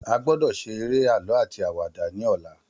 A gbọ́dọ̀ seré àlọ́ áti àwàdà ní ọ̀la